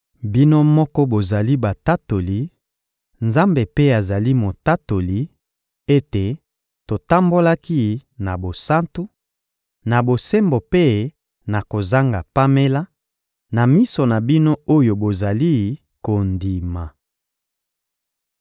Bino moko bozali batatoli, Nzambe mpe azali Motatoli, ete totambolaki na bosantu, na bosembo mpe na kozanga pamela, na miso na bino oyo bozali kondima.